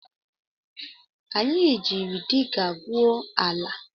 Anyị jiiri diga gwuo ala